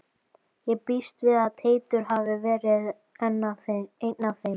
Ég býst við að Teitur hafi verið einn af þeim.